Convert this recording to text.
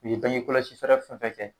U ye bange kɔlɔsi fɛɛrɛ fɛn fɛn kɛ.